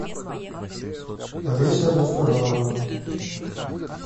олеся достовалова